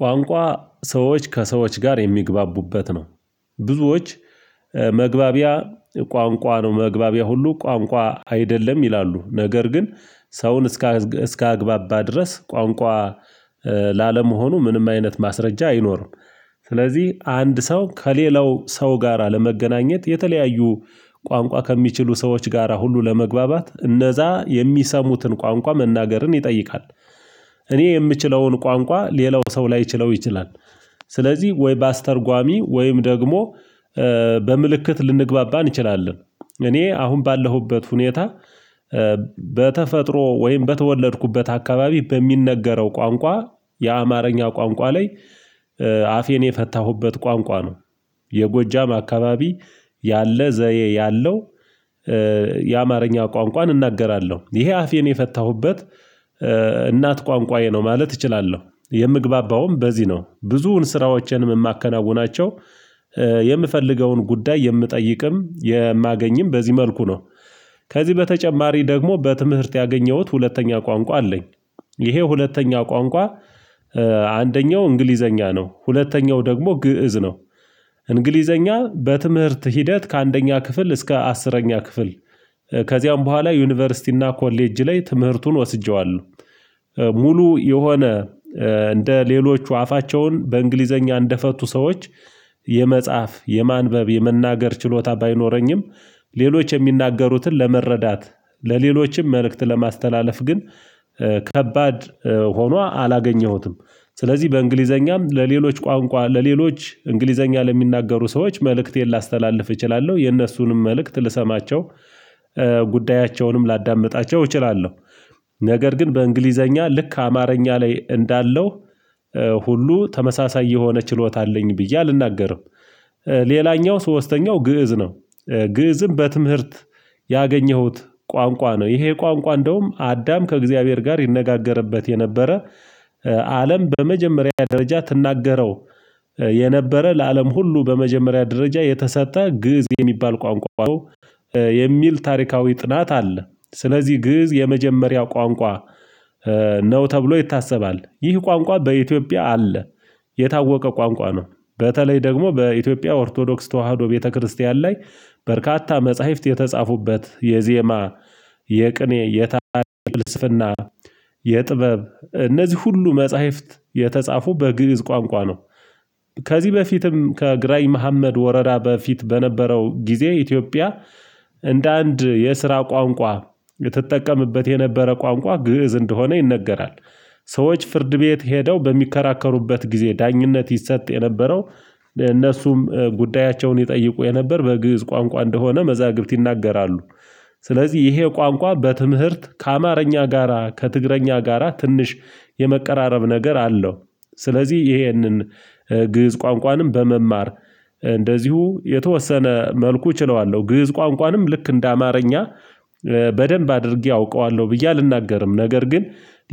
ቋንቋ ሰዎች ከሰዎች ጋር የሚግባቡበት ነው። ብዙዎች መግባቢያ ቋንቋ ነው መግባቢያ ሁሉ ቋንቋ አይደለም ይላሉ። ነገር ግን ሰውን እስከ እስከ አግባባ ድረስ ቋንቋ ላለመሆኑ ምንም አይነት ማስረጃ አይኖርም። ስለዚህ አንድ ሰው ከሌላው ሰው ጋራ ለመገናኘት የተለያዩ ቋንቋ ከሚችሉ ሰዎች ጋራ ሁሉ ለመግባባት እነዛ የሚሰሙትን ቋንቋ መናገርን ይጠይቃል። እኔ የምችለውን ቋንቋ ሌላው ሰው ላይችለው ይችላል። ስለዚህ ወይ በአስተርጓሚ ወይም ደግሞ በምልክት ልንግባባ እንችላለን። እኔ አሁን ባለሁበት ሁኔታ በተፈጥሮ ወይም በተወለድኩበት አካባቢ በሚነገረው ቋንቋ የአማርኛ ቋንቋ ላይ አፌን የፈታሁበት ቋንቋ ነው። የጎጃም አካባቢ ያለ ዘየ ያለው። የአማርኛ ቋንቋን እናገራለሁ ይሄ አፌን የፈታሁበት እናት ቋንቋዬ ነው ማለት እችላለሁ የምግባባውም በዚህ ነው ብዙውን ስራዎችንም የማከናውናቸው። የምፈልገውን ጉዳይ የምጠይቅም የማገኝም በዚህ መልኩ ነው። ከዚህ በተጨማሪ ደግሞ በትምህርት ያገኘሁት ሁለተኛ ቋንቋ አለኝ። ይሄ ሁለተኛ ቋንቋ አንደኛው እንግሊዘኛ ነው ሁለተኛው ደግሞ ግእዝ ነው። እንግሊዘኛ በትምህርት ሂደት ከአንደኛ ክፍል እስከ አስረኛ ክፍል ከዚያም በኋላ ዩኒቨርሲቲ እና ኮሌጅ ላይ ትምህርቱን ወስጄዋለሁ። ሙሉ የሆነ እንደ ሌሎቹ አፋቸውን በእንግሊዘኛ እንደፈቱ ሰዎች የመጽሐፍ የማንበብ የመናገር ችሎታ ባይኖረኝም ሌሎች የሚናገሩትን ለመረዳት ለሌሎችም መልእክት ለማስተላለፍ ግን ከባድ ሆኖ አላገኘሁትም። ስለዚህ በእንግሊዘኛም ለሌሎች ቋንቋ ለሌሎች እንግሊዘኛ ለሚናገሩ ሰዎች መልእክቴን ላስተላልፍ እችላለሁ የነሱንም መልእክት ልሰማቸው ጉዳያቸውንም ላዳምጣቸው እችላለሁ። ነገር ግን በእንግሊዘኛ ልክ አማርኛ ላይ እንዳለው ሁሉ ተመሳሳይ የሆነ ችሎታ አለኝ ብዬ አልናገርም። ሌላኛው ሶስተኛው ግእዝ ነው ግእዝም በትምህርት ያገኘሁት ቋንቋ ነው። ይሄ ቋንቋ እንደውም አዳም ከእግዚአብሔር ጋር ይነጋገርበት የነበረ። አለም በመጀመሪያ ደረጃ ትናገረው የነበረ ለአለም ሁሉ በመጀመሪያ ደረጃ የተሰጠ ግእዝ የሚባል ቋንቋ የሚል ታሪካዊ ጥናት አለ። ስለዚህ ግእዝ የመጀመሪያው ቋንቋ ነው ተብሎ ይታሰባል ይህ ቋንቋ በኢትዮጵያ አለ። የታወቀ ቋንቋ ነው። በተለይ ደግሞ በኢትዮጵያ ኦርቶዶክስ ተዋህዶ ቤተክርስቲያን ላይ በርካታ መጽሐፍት የተጻፉበት የዜማ የቅኔ የታላላቅ ልስፍና የጥበብ እነዚህ ሁሉ መጽሐፍት የተጻፉ በግእዝ ቋንቋ ነው። ከዚህ በፊትም ከግራኝ መሀመድ ወረራ በፊት በነበረው ጊዜ ኢትዮጵያ እንደ አንድ የስራ ቋንቋ የተጠቀመበት የነበረ ቋንቋ ግእዝ እንደሆነ ይነገራል። ሰዎች ፍርድ ቤት ሄደው በሚከራከሩበት ጊዜ ዳኝነት ይሰጥ የነበረው እነሱም ጉዳያቸውን ይጠይቁ የነበር በግእዝ ቋንቋ እንደሆነ መዛግብት ይናገራሉ። ስለዚህ ይሄ ቋንቋ በትምህርት ከአማርኛ ጋራ ከትግርኛ ጋራ ትንሽ የመቀራረብ ነገር አለው። ስለዚህ ይሄንን ግእዝ ቋንቋንም በመማር እንደዚሁ የተወሰነ መልኩ እችለዋለሁ ግእዝ ቋንቋንም ልክ እንደ አማርኛ በደንብ አድርጌ አውቀዋለሁ ብዬ አልናገርም። ነገር ግን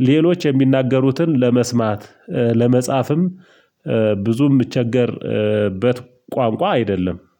ሌሎች የሚናገሩትን ለመስማት ለመጻፍም ብዙ የምቸገርበት ቋንቋ አይደለም